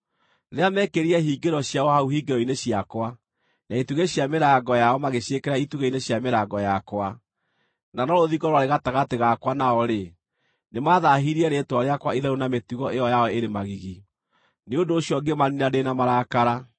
Rĩrĩa meekĩrire hingĩro ciao hau hingĩro-inĩ ciakwa, na itugĩ cia mĩrango yao magĩciĩkĩra itugĩ-inĩ cia mĩrango yakwa, na no rũthingo rwarĩ gatagatĩ gakwa na o-rĩ, nĩmathaahirie rĩĩtwa rĩakwa itheru na mĩtugo ĩyo yao ĩrĩ magigi. Nĩ ũndũ ũcio ngĩmaniina ndĩ na marakara.